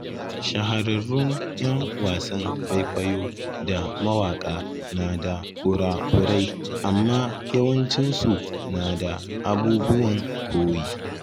Shahararrun ‘yan wasan kwaikwayo da mawaka na da kura-kurai, amma yawancinsu na da abubuwan koyi.